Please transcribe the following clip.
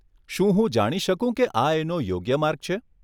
શું હું જાણી શકું કે આ એનો યોગ્ય માર્ગ છે?